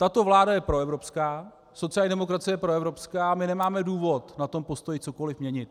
Tato vláda je proevropská, sociální demokracie je proevropská, my nemáme důvod na tom postoji cokoli měnit.